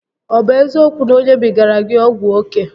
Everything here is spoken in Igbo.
Ọ bụ eziokwu na o nyebigara gị ọgwụ oke?